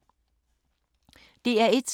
DR1